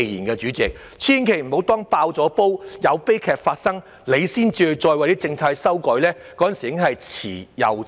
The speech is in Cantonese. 代理主席，千萬不要待"爆煲"、有悲劇發生後，才為政策作修改，屆時已是遲之又遲。